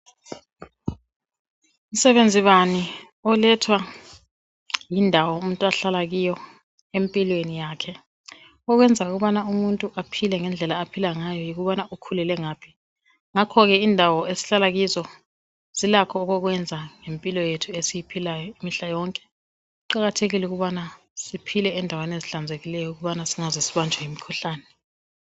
Msebenzi bani olethwa yindawo umuntu ahlala kiyo empilweni yakhe okwenza ukubana umuntu aphile ngendlela aphila ngayo yikubana ukhulele ngaphi ngakho ke indawo esihlala kizo zilakho okokwenza lempilo yethu esiyiphilayo mihla yonke kuqakathekile ukubana siphile endaweni ehlanzekileyo ukubana singaze sibanjwe yimikhuhlane